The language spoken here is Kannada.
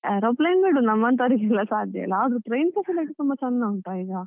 Aeroplane ಬಿಡು ನಮಂತವ್ರಿಗೆ ಎಲ್ಲ ಸಾಧ್ಯ ಇಲ್ಲ, ಆದ್ರೂ train facility ತುಂಬ ಚಂದ ಉಂಟ ಈಗ.